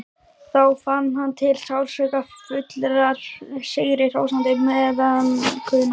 Þá fann hann til sársaukafullrar, sigrihrósandi meðaumkunar.